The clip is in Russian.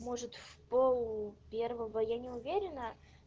может в полпервого я не уверена